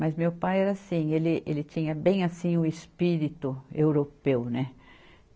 Mas meu pai era assim, ele, ele tinha bem assim o espírito europeu, né?